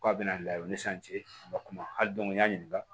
K'a bɛna u ni sanji ka kuma hali n y'a ɲininka